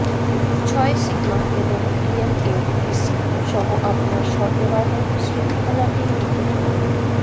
ছয় সিগমা এবং ডিএমএইসি সহ আপনার সরবরাহ শৃঙ্খলাটি নিখুত করুন